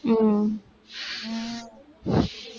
உம்